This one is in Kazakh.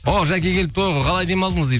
о жәке келіпті ғой қалай демалдыңыз дейді